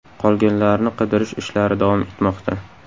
Qolganlarni qidirish ishlari davom etmoqda.